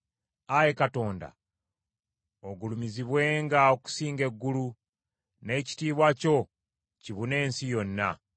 Ayi Katonda, ogulumizibwenga okusinga eggulu; n’ekitiibwa kyo kibune ensi yonna.